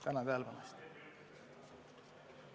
Tänan tähelepanu eest!